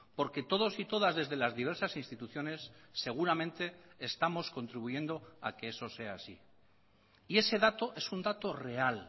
porque todos y todas desde las diversas instituciones seguramente estamos contribuyendo a que eso sea así y ese dato es un dato real